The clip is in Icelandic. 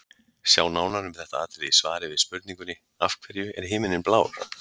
Sjá nánar um þetta atriði í svari við spurningunni Af hverju er himininn blár?.